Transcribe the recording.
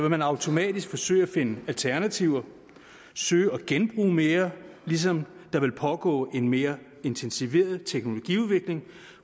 man automatisk forsøge at finde alternativer og søge at genbruge mere ligesom der vil pågå en mere intensiveret teknologiudvikling